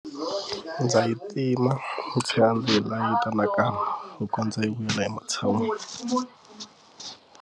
Ndza yi tima ndzi tlhela ndzi nga yi kanakana ku kondza yi vuyela ematshan'wini.